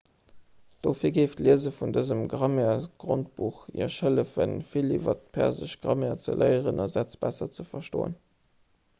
dohier géif d'liese vun dësem grammairesgrondbuch iech hëllefen vill iwwer d'persesch grammaire ze léieren a sätz besser ze verstoen